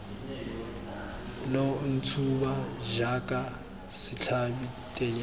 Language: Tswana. lo ntshuba jaaka setlhabi tennyana